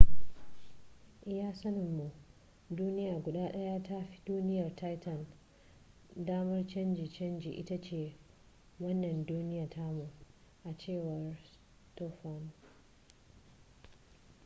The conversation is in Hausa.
iya sanin mu duniya guda daya da ta fi duniyar titan damar canje canje ita ce wannan duniya tamu a cewar stofan